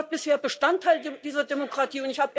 Ihr wart bisher Bestandteil dieser Demokratie.